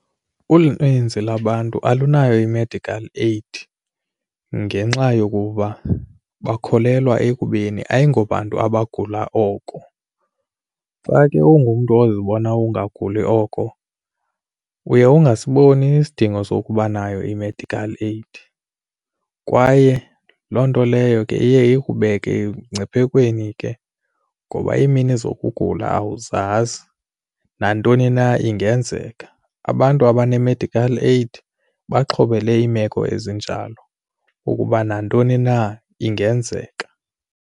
Uninzi lwabantu alunayo i-medical aid ngenxa yokuba bakholelwa ekubeni ayingobantu abagula oko. Xa ke ungumntu ozibona ungaguli oko uye ungasiboni isidingo sokuba nayo i-medical aid kwaye loo nto leyo ke iye ikubeke emngciphekweni ke ngoba iimini zokugula awuzazi nantoni na ingenzeka. Abantu abanee-medical aid baxhobele iimeko ezinjalo ukuba nantoni na ingenzeka.